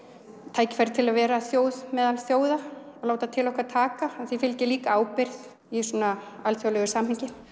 tækifæri til að vera þjóð meðal þjóða og láta til okkar taka því líka ábyrgð í svona alþjóðlegu samhengi